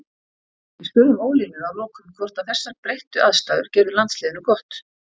Við spurðum Ólínu að lokum hvort að þessar breyttu aðstæður gerðu landsliðinu gott.